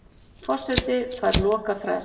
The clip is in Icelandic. Forseti fær lokafrest